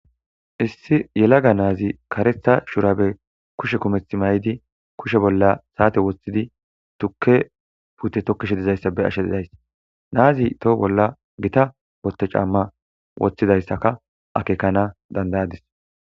issi yelaga na7azi karetha shurabe kushe kumethi may7idi kushe bolla saate woththidi tukke pute tokkishe dizayssa be7ashe didays na7azi toho bolla gita wotte caamma woththidayssaka akekana dandayadis.